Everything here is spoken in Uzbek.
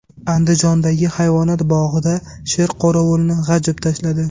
Andijondagi hayvonot bog‘ida sher qorovulni g‘ajib tashladi.